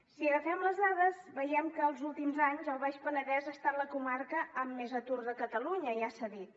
si agafem les dades veiem que els últims anys el baix penedès ha estat la comarca amb més atur de catalunya ja s’ha dit